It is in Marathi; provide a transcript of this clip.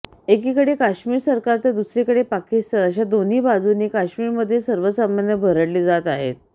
एकीकडे काश्मीर सरकार तर दुसरीकडे पाकिस्तान अशा दोन्ही बाजूंनी काश्मीरमधील सर्वसामान्य भरडले जात आहेत